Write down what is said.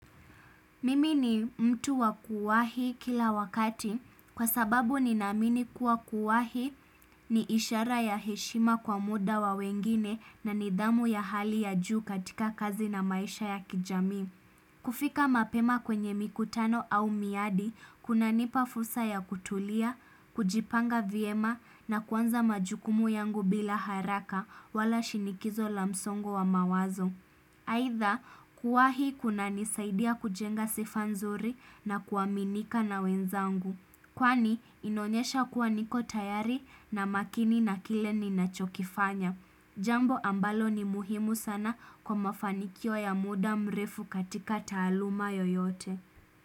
Mimi ni mtu wa kuwahi kila wakati kwa sababu ni namini kuwa kuwahi ni ishara ya heshima kwa muda wa wengine na nidhamu ya hali ya juu katika kazi na maisha ya kijami. Kufika mapema kwenye mikutano au miadi, kuna nipafursa ya kutulia, kujipanga viema na kuanza majukumu yangu bila haraka wala shinikizo lamsongo wa mawazo. Haitha kuwahii kuna nisaidia kujenga sifanzuri na kuwaminika na wenzangu. Kwani inonyesha kuwa niko tayari na makini na kile ni nachokifanya. Jambo ambalo ni muhimu sana kwa mafanikio ya muda mrefu katika taluma yoyote.